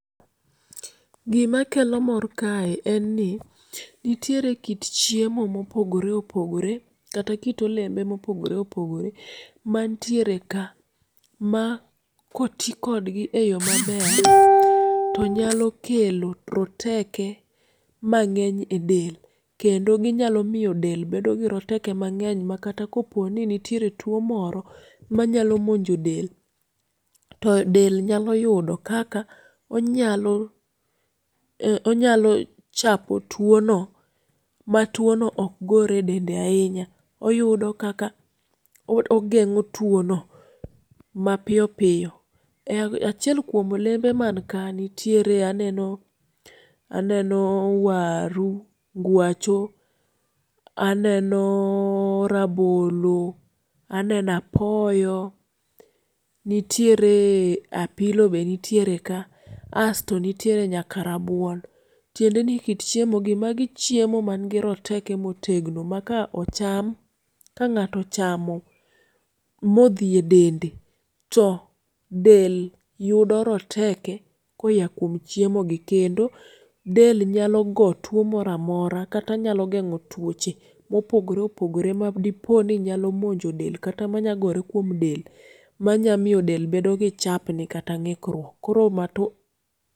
Gima kelo mor kae enni nitiere kit chiemo mopogore opogore kata kit olembe mopogore opogore mantiere ka ma koti kodgi eyoo maber to nyalo kelo roteke mang'eny edel kendo ginyalo miyo del bedo giroteke mang'eny makata koponi nitiere tuo moro manyalo monjo del todel nyalo yudo kaka onyalo onyalo chapo tuono matuono ok gore dende ahinya oyudo kaka ogeng'o tuono mapiyo piyo. Achiel kuom olembe manka nitiere aneno waru ngwacho, rabolo, aneno apoyo, nitieree apilo be nitiere ka asto nitiere nyaka rabuon tindeni kit chiemogi magi chiemo mangi roteke motegno maka ocham to ng'ato ochamo modhie dende to del yudo roteke koyakuom chiemogi kendo del nyalo go tuo moro amora kata nyalo geng'o tuoche mopogore opogore madiponi nyalo monjo del kata manyalo gore kuom del manya miyo del bedo gi chapni kata ng'ikruok koro mato